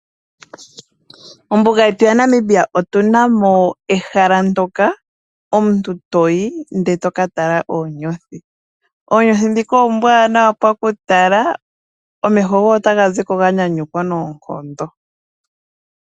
Mombuga yetu yaNamibia otu na mo ehala ndoka omuntu to yi ndele to ka tala oonyothi. Oonyothi dhika oombwanawa pakutala, omeho goye otaga zi ko ganyanyukwa noonkondo.